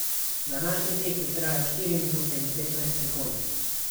Današnji tek je trajal štiri minute in petnajst sekund.